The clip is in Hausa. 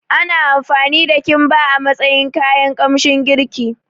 Ana amfani da Kimba a matsayin kayan kamshin girki